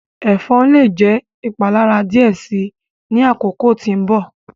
Ẹfọn le jẹ ipalara diẹ sii ni akoko ti nbọ.